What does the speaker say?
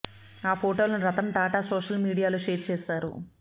ఆ ఫొటోలను రతన్ టాటా సోషల్ మీడియాలో షేర్ చేశారు